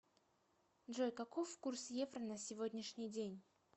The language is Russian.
джой каков курс евро на сегодняшний день